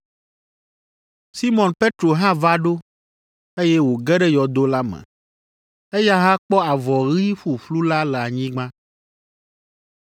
Simɔn Petro hã va ɖo, eye wòge ɖe yɔdo la me. Eya hã kpɔ avɔ ɣi ƒuƒlu la le anyigba,